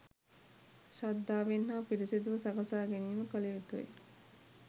ශ්‍රද්ධාවෙන් හා පිරිසුදුව සකසා ගැනීම කළ යුතු ය.